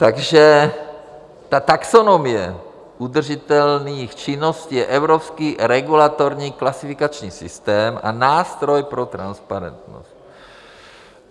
Takže ta taxonomie udržitelných činností je evropský regulatorní klasifikační systém a nástroj pro transparentnost.